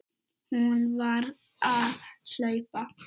Hún varð að hlaupa.